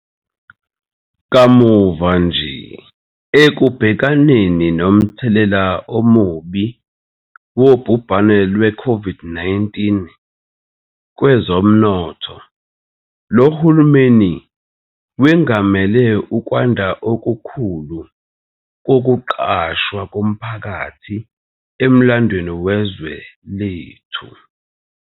Kamuva nje, ekubhekaneni nomthelela omubi wobhubhane lweCOVID-19 kwezomnotho, lo hulumeni wengamele ukwanda okukhulu kokuqashwa komphakathi emlandweni wezwe lethu.